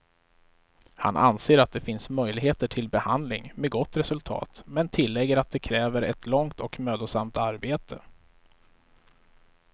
Han anser att det finns möjligheter till behandling med gott resultat, men tillägger att det kräver ett långt och mödosamt arbete.